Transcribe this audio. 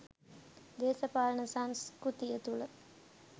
දේශපාලන සංස්කෘතිය තුළ